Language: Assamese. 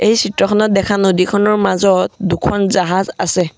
এই চিত্ৰখনত দেখা নদীখনৰ মাজত দুখন জাহাজ আছে।